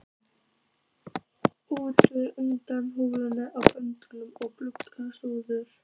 til utan húðunar á bönd og glugga súlur.